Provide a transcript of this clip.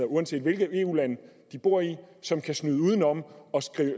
uanset hvilket eu land de bor i som kan snyde og